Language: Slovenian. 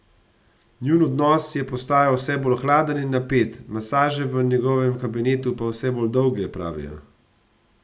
Njun odnos je postajal vse bolj hladen in napet, masaže v njegovem kabinetu pa vse bolj dolge, pravijo.